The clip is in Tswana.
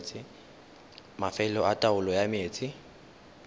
mafelo a taolo ya metsi